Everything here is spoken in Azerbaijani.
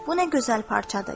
Bu nə gözəl parçadır.